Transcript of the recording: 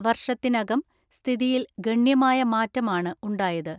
വർഷത്തിനകം സ്ഥിതിയിൽ ഗണ്യമായ മാറ്റമാണ് ഉണ്ടായത്.